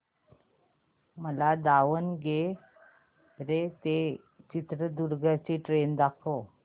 मला दावणगेरे ते चित्रदुर्ग ची ट्रेन दाखव